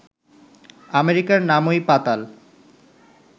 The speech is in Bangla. আমেরিকার নামই পাতাল